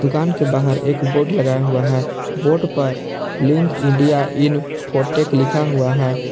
दुकान के बाहर एक बोर्ड लगाया हुआ है बोर्ड पर लिंक इंडिया इन्फोटेक लिखा हुआ है।